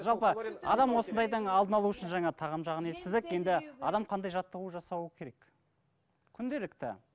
жалпы адам осындайдың алдын алу үшін жаңа тағам жағын естідік енді адам қандай жаттығу жасауы керек күнделікті